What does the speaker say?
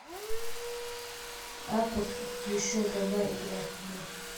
апп еще давай играть в